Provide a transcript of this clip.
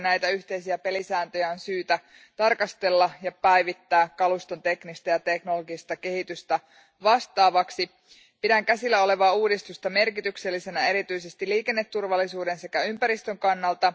Näitä yhteisiä pelisääntöjä on syytä tarkastella ja päivittää kaluston teknistä ja teknologista kehitystä vastaavaksi. Pidän käsillä olevaa uudistusta merkityksellisenä erityisesti liikenneturvallisuuden sekä ympäristön kannalta.